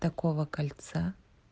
такого кольца